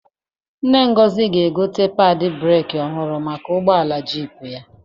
Nne Ngozi ga-egote padị breeki ọhụrụ maka ụgbọala jiipu ya.